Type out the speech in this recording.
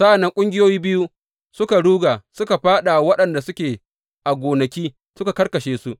Sa’an nan ƙungiyoyi biyu suka ruga suka fāɗa wa waɗanda suke a gonaki suka karkashe su.